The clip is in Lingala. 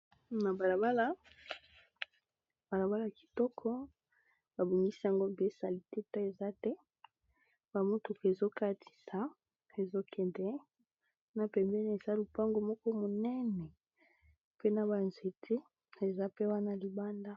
Na balabala, balabala kitoko babongisi yango bien salite mpe eza te ba motuku ezokatisa ezokende na pembeniq eza lupango moko monene pe na ba nzete eza pe wana libanda.